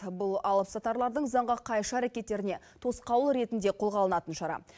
бұл алыпсатарлардың заңға қайшы әрекеттеріне тосқауыл ретінде қолға алынатын шара